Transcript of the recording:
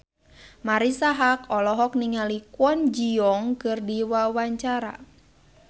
Marisa Haque olohok ningali Kwon Ji Yong keur diwawancara